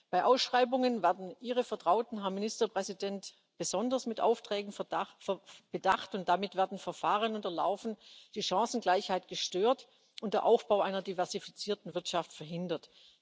Bei Ausschreibungen werden Ihre Vertrauten, Herr Ministerpräsident, besonders mit Aufträgen bedacht, und damit werden Verfahren unterlaufen, die Chancengleichheit gestört und der Aufbau einer diversifizierten Wirtschaft verhindert.